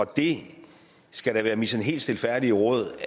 det skal da være mit helt sådan stilfærdige råd